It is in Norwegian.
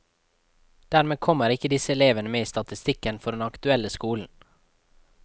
Dermed kommer ikke disse elevene med i statistikken for den aktuelle skolen.